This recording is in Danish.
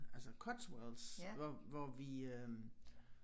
Altså Cotswolds hvor hvor vi øh